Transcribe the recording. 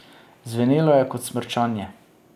Zvenelo je kot smrčanje.